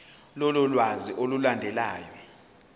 lolu lwazi olulandelayo